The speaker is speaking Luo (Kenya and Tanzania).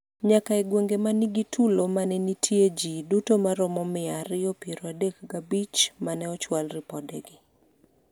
nyaka e gwenge manigi tulo mane nitie jii duto maromo mia ariyo piero adek gi abich mane ochwal ripodegi